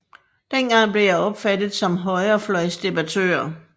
Dengang blev jeg opfattet som højrefløjsdebattør